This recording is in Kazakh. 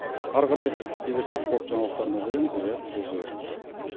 ары қарай кезекті спорт жаңалықтарына береміз рият сөз өзіңізде